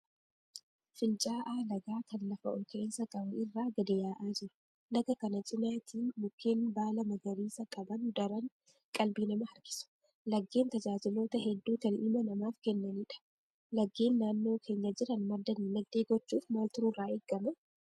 Fincaa'aa lagaa kan lafa olka'insa qabu irraa gadi yaa'aa jiru. Laga kana cinaatiin mukeen baala magariisa qaban daran qalbii namaa harkisu. Lageen tajaajiloota hedduu kan ilma namaaf kennanidha. Lageen naannoo keenya jiran madda dinagdee gochuuf maaltu nurraa eegama?